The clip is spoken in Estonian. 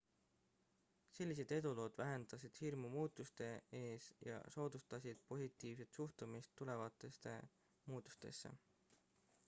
sellised edulood vähendasid hirmu muutuste ees ja soodustasid positiivset suhtumist tulevastesse muutustesse